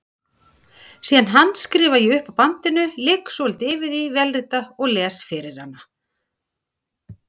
Síðan handskrifa ég upp af bandinu, ligg svolítið yfir því, vélrita og les fyrir hana.